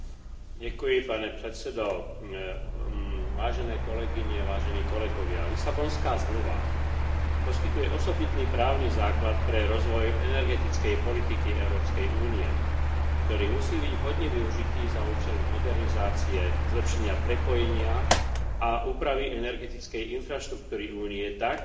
Lisabonská zmluva poskytuje osobitný právny základ pre rozvoj energetickej politiky Európskej únie, ktorý musí byť vhodne využitý za účelom modernizácie, zlepšenia prepojenia a úpravy energetickej infraštruktúry Únie tak, aby boli dosiahnuté energetické a klimatické ciele na rok